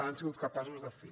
han sigut capaços de fer